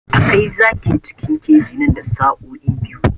A kai zakin cikin keji nan da sa'o'i biyu